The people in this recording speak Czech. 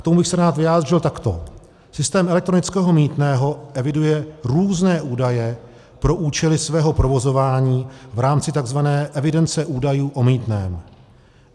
K tomu bych se rád vyjádřil takto: Systém elektronického mýtného eviduje různé údaje pro účely svého provozování v rámci tzv. evidence údajů o mýtném.